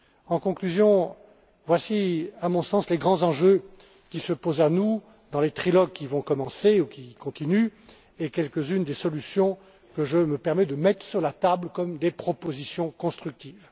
En conclusion, voici à mon sens les grands enjeux qui se posent à nous dans les trilogues qui vont commencer ou qui continuent et quelques unes des solutions que je me permets de mettre sur la table comme des propositions constructives.